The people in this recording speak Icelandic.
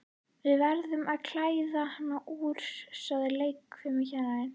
Við verðum að klæða hana úr, sagði leikfimikennarinn.